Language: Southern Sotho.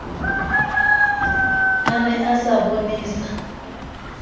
a ne a sa bonesa